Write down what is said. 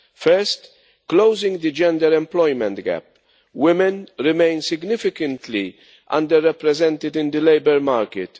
First, closing the gender employment gap. Women remain significantly under represented in the labour market.